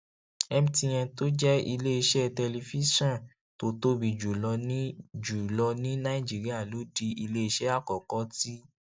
mtn tó jẹ iléeṣẹ tẹlifíṣòn tó tóbi jù lọ ní jù lọ ní nàìjíríà ló di iléeṣẹ àkọkọ tí